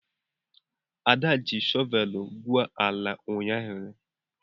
Ada ji shọvel gwuo ala ụnyahụ.